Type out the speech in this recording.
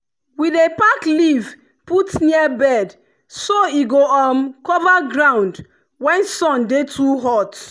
we dey pack leaf put near bed so e go um cover ground when sun dey too hot.